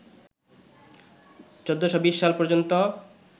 ১৪২০ সাল পর্যন্ত